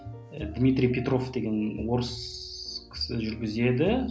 дмитрий петров деген орыс кісі жүргізеді